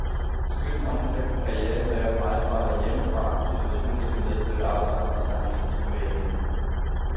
Skønt den omfattende karriere kræver meget fravær hjemmefra, har situationen ikke medført afsavn i sangerindens privatliv.